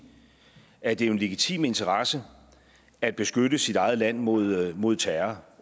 at det jo er en legitim interesse at beskytte sit eget land mod mod terror